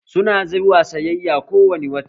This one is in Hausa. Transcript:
Su na zuwa sayayya ko wani wata